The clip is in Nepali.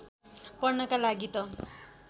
पढ्नका लागि त